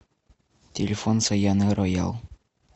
телефон саяны роял